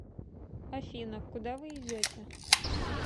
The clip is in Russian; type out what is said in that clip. афина куда вы идете